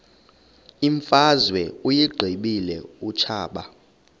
imfazwe uyiqibile utshaba